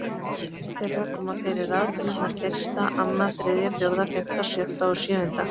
Auk þeirra koma fyrir raðtölurnar fyrsta, annað, þriðja, fjórða, fimmta, sjötta og sjöunda.